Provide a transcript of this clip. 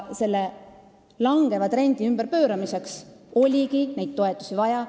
Selle langeva trendi ümberpööramiseks oligi neid toetusi vaja.